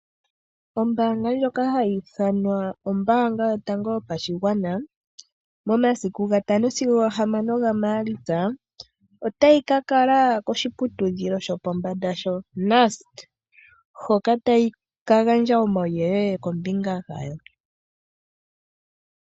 Ombaanga ndjoka hayi ithanwa ombaanga yotango yopashigwana momasiku gatano sigo gahamano gaMaalitsa otayi ka kala koshiputudhilo shopombanda shoNust hoka tayi ka gandja omauyelele kombinga gayo.